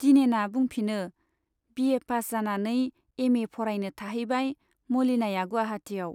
दिनेना बुंफिनो , बिए पास जानानै एमए फरायनो थाहैबाय मलिनाया गुवाहाटियाव।